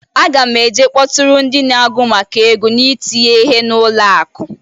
Aga m e je kpọtụrụ ndị ndi agụ maka Ego na-itinye ihe na ụlọ akụ.